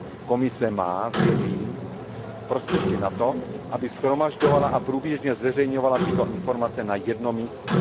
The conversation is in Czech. Komise má, věřím, prostředky na to, aby shromažďovala a průběžně zveřejňovala tyto informace na jednom místě.